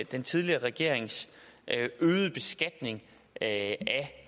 den tidligere regerings øgede beskatning af